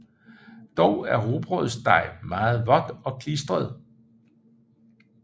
Dog er rugbrødsdej meget vådt og klistret